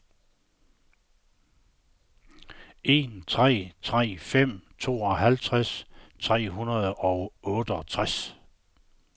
en tre tre fem tooghalvtreds tre hundrede og otteogtres